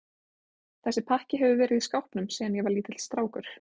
Þessi pakki hefur verið í skápnum síðan ég var lítill strákur.